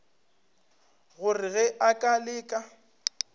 gore ge a ka leka